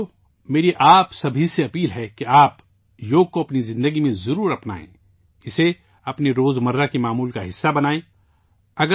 ساتھیو، میں آپ سب سے گزارش کرتا ہوں کہ آپ یوگا کو اپنی زندگی میں ضرور اپنائیں، اسے، اپنے روزمرہ کے معمول کا حصہ بنائیں